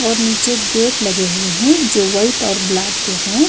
और नीचे गेट लगे हुए हैं जो वाइट और ब्लैक हैं।